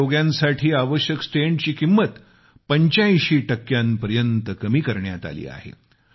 हृदयरोग्यांसाठी आवश्यक स्टेंटची किंमत 85 टक्क्यापर्यत कमी करण्यात आली आहे